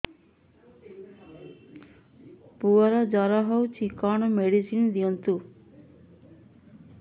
ପୁଅର ଜର ହଉଛି କଣ ମେଡିସିନ ଦିଅନ୍ତୁ